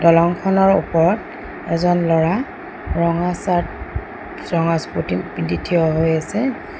দলঙখনৰ ওপৰত এজন ল'ৰা ৰঙা শ্বাৰ্ট ৰঙা স্পোৰ্টিং পিন্ধি থিয় হৈ আছে।